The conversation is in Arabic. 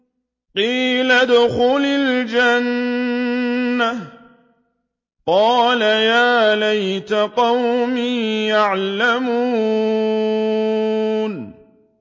قِيلَ ادْخُلِ الْجَنَّةَ ۖ قَالَ يَا لَيْتَ قَوْمِي يَعْلَمُونَ